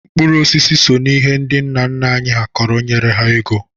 Mkpụrụ osisi so n'ihe ndị nna nna anyị kọrọ nyere ha ego.